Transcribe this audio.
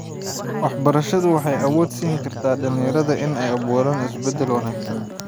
Waxbarashadu waxay awood siin kartaa dhalinyarada inay abuuraan isbedel wanaagsan.